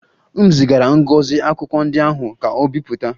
M zigara Ngozi akwụkwọ ndị ahụ ka o bipụta